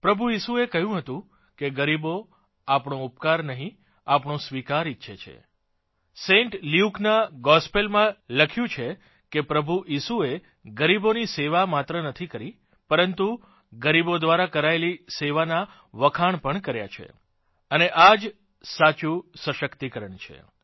પ્રભુ ઇસુએ કહ્યું હતું કે ગરીબો આપણો ઉપકાર નહીં આપણો સ્વીકાર ઇચ્છે છે સેન્ટ લ્યૂકના ગોસ્પલમાં લખ્યું છે કે પ્રભુ ઇસુએ ગરીબોની સેવા માત્ર નથી કરી પરંતુ ગરીબો દ્વારા કરાયેલી સેવાના વખાણ પણ કર્યા છેઅને આ જ સાચુંખરેખરનું વાસ્તવનું સશક્તિકરણ છે